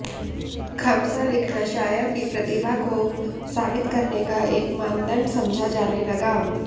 ख़म्सा लिखना शायर की प्रतिभा को साबित करने का एक मानदंड समझा जाने लगा